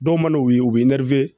Dɔw man'o ye u bɛ